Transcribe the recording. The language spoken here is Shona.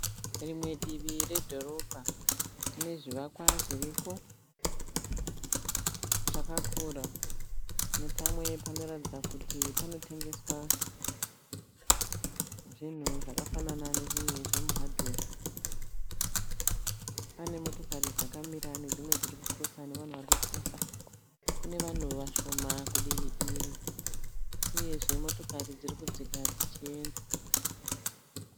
Rimwe Divi redhorobha rinezvivakwa zviriko zvaakakura, nepamwe panoratidza kuti panotengeswa zvinhu zvakafanana nemuhadhiwe, pane motokari dzakamira nedzimwe dzirikukirosa nevanhu varikukirosa, kune vanhu vashoma kudivi iri uye motokari dzirokudzira dzichienda.